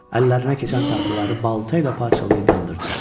Əllərinə keçən taxtaları balta ilə parçalayıb yandırdılar.